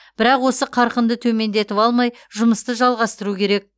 бірақ осы қарқынды төмендетіп алмай жұмысты жалғастыру керек